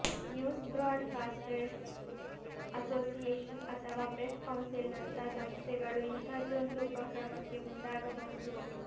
news broadcasters association ಅಥವಾ press ಕೌನ್ಸಿಲ್ನಂಥ ಸಂಸ್ಥೆಗಳು ಇಂಥದ್ದೊಂದು ಉಪಕ್ರಮಕ್ಕೆ ಮುಂದಾಗಬಹುದು